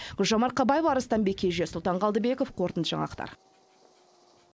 гүлжан марқабаева арыстанбек кенже сұлтан қалдыбеков қорытынды жаңалықтар